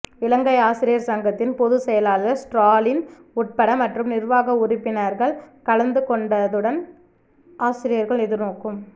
இலங்கை ஆசிரியர் சங்கத்தின் பொதுச் செயலாளர் ஸ்ராலின் உட்பட் மற்றும் நிர்வாக உறுப்பினாகள் கலந்துகொண்டதடுன் அசிரியர்கள் எதிர்நோக்கும்